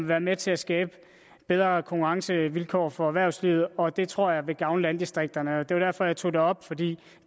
være med til at skabe bedre konkurrencevilkår for erhvervslivet og det tror jeg vil gavne landdistrikterne det var derfor jeg tog det op for det